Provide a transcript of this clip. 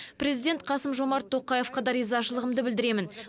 президент қасым жомарт тоқаевқа да ризашылығымды білдіремін